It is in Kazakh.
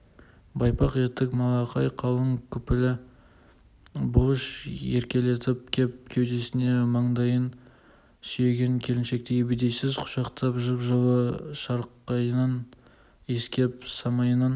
байпақ етік малақай қалың күпілі бұлыш еркелеп кеп кеудесіне маңдайын сүйеген келіншекті ебедейсіз құшақтап жып-жылы шарқатынан иіскеп самайынан